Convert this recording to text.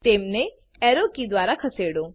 તેમને arrow key દ્વારા ખસેડો